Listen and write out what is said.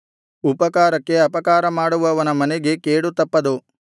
ಉಪಕಾರಕ್ಕೆ ಅಪಕಾರಮಾಡುವವನ ಮನೆಗೆ ಕೇಡು ತಪ್ಪದು